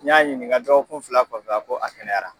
N y'a ɲininka dɔgɔkun fila kɔfɛ a ko a kɛnɛyara.